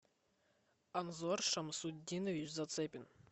анзор шамсутдинович зацепин